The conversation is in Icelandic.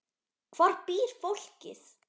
Hvar býr fólkið?